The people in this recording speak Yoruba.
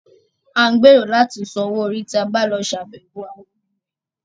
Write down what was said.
À ń gbèrò láti san owó orí tí a bá lọ ṣàbẹ̀wọ̀ àwọn òbí remẹ̀